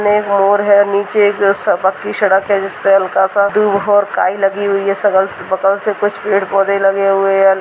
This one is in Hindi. इसमें एक मोर है नीचे एक पक्की सड़क है जिसमें हल्का सा दूब और काई लगी हुई है सकल बगल से कुछ पेड़ पौधे लगे हुए है।